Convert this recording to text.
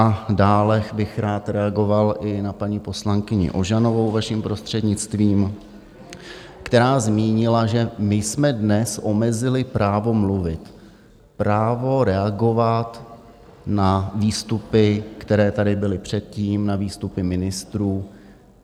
A dále bych rád reagoval i na paní poslankyni Ožanovou, vaším prostřednictvím, která zmínila, že my jsme dnes omezili právo mluvit, právo reagovat na výstupy, které tady byly předtím, na výstupy ministrů.